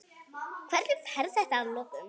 Hvernig fer þetta að lokum?